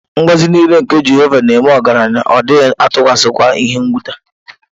Ngọzi nile nke Jehova nēme ọgaranya, Ọ dighi-atukwasi kwa ihe-nwuta.